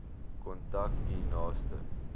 kontak u naaste